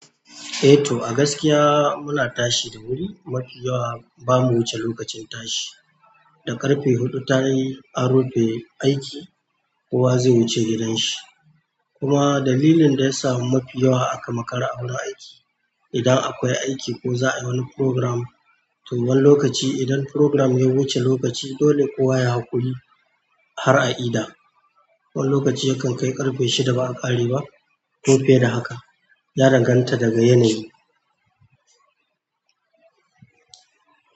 To, a gaskiya muna tashi da wuri. Mafi yawa ba mu wuce lokacin tashi. Da ƙarfe huɗu tayi an rufe aiki kowa zai wuce gidanshi. Kuma dalilin da ya sa mafi yawa aka makara a wurin aiki, idan akwai aiki ko za a yi wani programme to wan lokaci, idan programme ya wuce lokaci dole kowa yayi haƙuri har a ida. Wani lokaci yakan kai ƙarfe shida ba a ƙare ba. Ko fiye da haka, ya danganta daga yanayi.